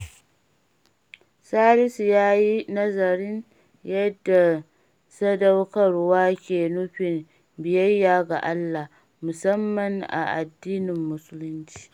Salisu ya yi nazarin yadda sadaukarwa ke nufin biyayya ga Allah, musamman a addinin Musulunci.